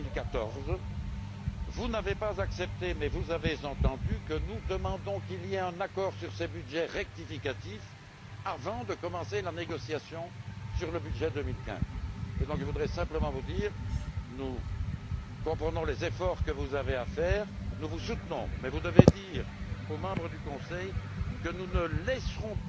2014. Vous n'avez pas accepté mais vous avez entendu que nous demandons qu'il y ait un accord sur ces budgets rectificatifs avant de commencer la négociation sur le budget 2015. Je voudrais donc simplement vous dire que nous comprenons les efforts que vous avez à fournir et nous vous soutenons. Mais vous devez dire aux membres du Conseil que nous ne laisserons,